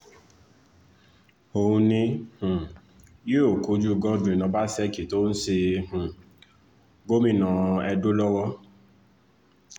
òun ni um yóò kojú godwin ọbaṣẹ́kí tó ń ṣe um gómìnà edo lọ́wọ́